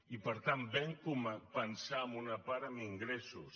i per tant vam pensar en una part en ingressos